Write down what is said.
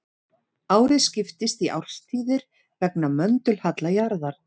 Árið skiptist í árstíðir vegna möndulhalla jarðar.